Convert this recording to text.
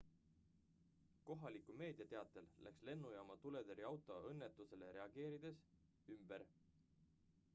kohaliku meedia teatel läks lennujaama tuletõrjeauto õnnetusele reageerides ümber